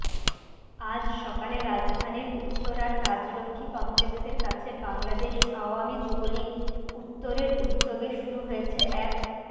আজ সকালে রাজধানীর উত্তরার রাজলক্ষ্মী কমপ্লেক্সের কাছে বাংলাদেশ আওয়ামী যুবলীগ উত্তরের উদ্যোগে শুরু হয়েছে এক